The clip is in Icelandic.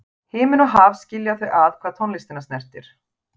Himinn og haf skilja þau að hvað tónlistina snertir.